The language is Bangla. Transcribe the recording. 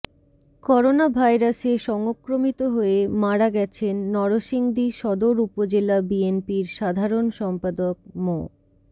করোনাভাইরাসে সংক্রমিত হয়ে মারা গেছেন নরসিংদী সদর উপজেলা বিএনপির সাধারণ সম্পাদক মো